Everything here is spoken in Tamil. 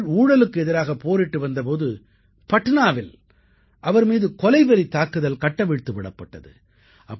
அவர்கள் ஊழலுக்கு எதிராகப் போரிட்டு வந்த போது பட்னாவில் அவர் மீது கொலைவெறித் தாக்குதல் கட்டவிழ்த்து விடப்பட்டது